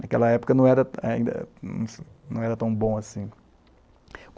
Naquela época não era ainda, não era tão bom assim.